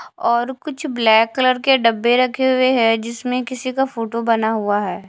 और कुछ black colour के डब्बे रखे हुए हैं जिसमें किसी का फोटो बना हुआ है।